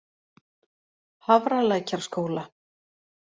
Hafralækjarskóla